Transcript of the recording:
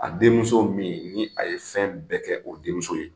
A denmuso min ni a ye fɛn bɛɛ kɛ o denmuso ye